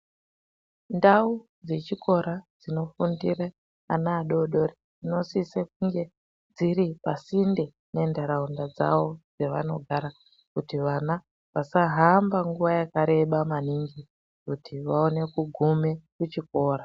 Ndau dzechikora dzinofundire ana adodori dzinosise kunge dziri pasinde ne ntaraunda dzawo dzevanogana kuti vana vasahamba nguwa yakareba maningi kuti vaone kugume kuchikora.